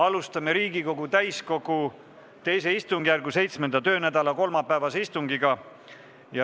Alustame Riigikogu täiskogu II istungjärgu 7. töönädala kolmapäevast istungit.